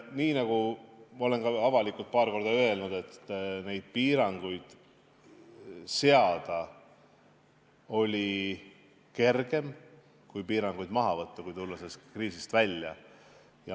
Nii nagu ma olen ka avalikult paar korda öelnud, et neid piiranguid seada oli kergem, kui on piiranguid maha võtta, tulles sellest kriisist välja.